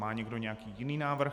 Má někdo nějaký jiný návrh?